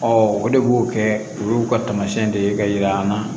o de b'o kɛ olu ka taamasiyɛn de ye ka yira an na